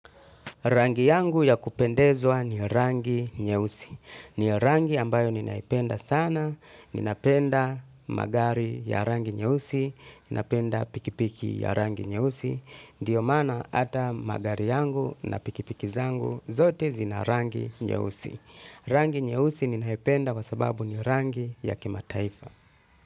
Rangi yangu ya kupendezwa ni rangi nyeusi. Ni rangi ambayo ninaipenda sana. Ninapenda magari ya rangu. Ninapenda pikipiki ya rangi nye usi. Ndo mahana ata magari na pikipiki zangu zote zina rangi nyeusi. Rangi nyeusi ninaipenda kwa sababu ni rangi ya kimataifa.